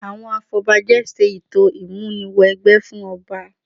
Àwọn afọbajẹ ṣe ètò ìmúni wẹgbẹ́ fún ọba